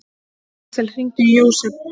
Alexis, hringdu í Jósep.